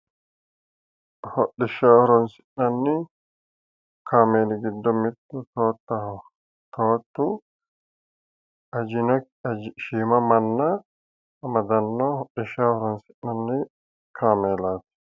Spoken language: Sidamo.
Hodhishshaho horoonsi'nanni kaameeli giddo mittu toottaho. Toottu shiima manna amadanno hodhishshaho horoonsi'nanni kaameelaati